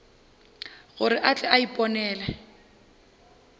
gore a tle a iponele